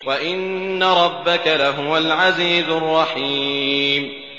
وَإِنَّ رَبَّكَ لَهُوَ الْعَزِيزُ الرَّحِيمُ